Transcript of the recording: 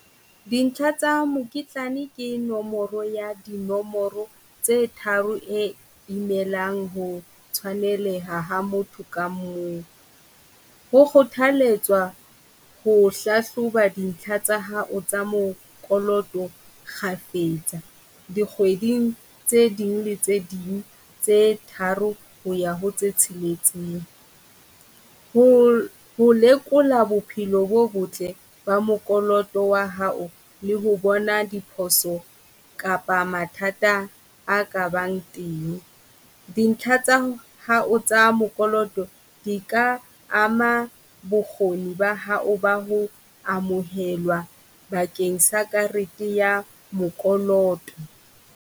Dintlha tsa mokitlane ke nomoro ya dinomoro tse tharo e imelang ho tshwaneleha ha motho ka mong. Ho kgothaletswa ho hlahloba dintlha tsa hao tsa mokoloto kgafetsa dikgweding tse ding tse ding tse tharo ho ya ho tse tsheletseng. Ho ho lekola bophelo bo botle ba mokoloto wa hao le ho bona diphoso kapa mathata a ka bang teng. Dintlha tsa hao tsa mokoloto di ka ama bokgoni ba hao ba ho amohelwa bakeng sa karete ya mokoloto.